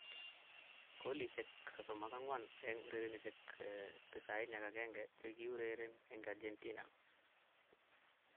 Golisiek 34 eng urerenosiek 91 chikikiurereni eng Argentina.